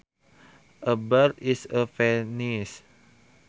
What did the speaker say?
A bird is a penis